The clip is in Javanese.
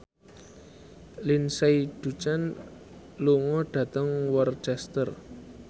Lindsay Ducan lunga dhateng Worcester